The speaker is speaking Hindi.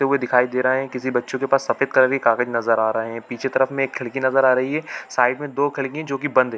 तो वो दिखाई दे रहा है किसी बच्चों के पास सफ़ेद कलर की कागज़ नज़र आ रहे है पीछे की तरफ में एक खिड़की नज़र आ रही है साइड में दो खिड़की है जो की बंद है।